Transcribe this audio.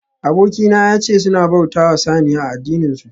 Abokina yace suna bautawa saniya a addininsu